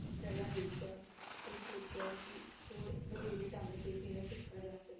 ਪਹਿਲਾਂ ਦੇਖਿਆ ਫਿਰ ਸੋਚਿਆ ਕਿ ਹੋਰ ਵਧੇਰੇ ਢੰਗ ਤੇ ਕਿਵੇਂ ਕੀਤਾ ਜਾ ਸਕਦਾ ਹੈ।